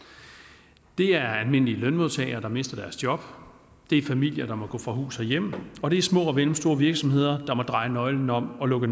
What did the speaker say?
det er almindelige lønmodtagere der mister deres job det er familier der må gå fra hus og hjem og det er små og mellemstore virksomheder der må dreje nøglen om og lukke